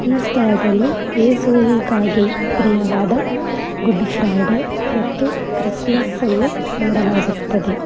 ಈ ಸ್ಥಳದಲ್ಲಿ ಯೇಸುವಿಗಾಗಿ ಪ್ರಿಯವಾದ ಗುಡ್ ಫ್ರೈಡೇ ಮತ್ತು ಕ್ರಿಸ್ಮಸ್ ಅನ್ನು ಮಾಡಲಾಗುತ್ತದೆ.